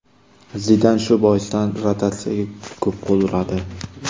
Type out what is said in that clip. Zidan shu boisdan rotatsiyaga ko‘p qo‘l uradi.